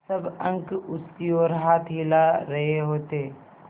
सब अंक उसकी ओर हाथ हिला रहे होते